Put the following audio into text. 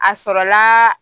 A sɔrɔlaa